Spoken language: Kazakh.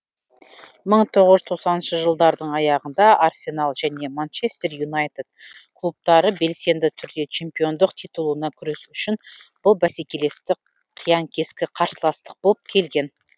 мың тоғыз жүз тоқсаныншы жылдардың аяғында арсенал және манчестер юнайтед клубтары белсенді түрде чемпиондық титулына күрес үшін бұл бәсекелестік қиян кескі қарсыластық болып келген